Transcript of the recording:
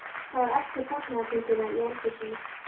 Það var eftir fagnaðarfundina í eldhúsinu.